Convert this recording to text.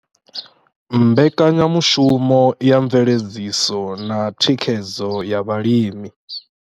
Mbekanyamushumo ya mveledziso na thikhedzo ya vhalimi.